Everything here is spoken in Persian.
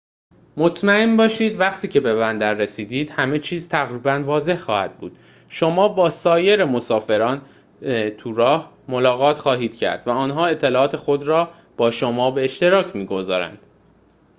مطمئن باشید وقتی که به بندر رسیدید همه چیز تقریباً واضح خواهد بود شما با سایر مسافران توراهی ملاقات خواهید کرد و آنها اطلاعات خود را با شما به اشتراک می‌گذارند